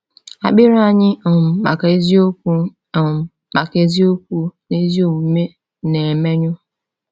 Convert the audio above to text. Akpịrị anyị um maka eziokwu um maka eziokwu na ezi omume na-emenyụ.